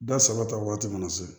Da saba ta waati mana se